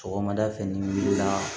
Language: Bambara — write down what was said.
Sɔgɔmada fɛ ni wulila